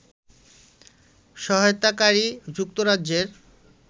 সহায়তাকারী যুক্তরাজ্যের